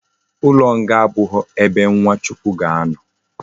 Ulo nga abughi ebe nwa chukwu ga ano